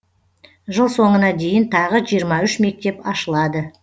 жыл соңына дейін тағы жиырма үш мектеп ашылады